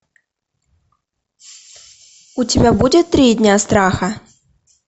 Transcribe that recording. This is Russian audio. у тебя будет три дня страха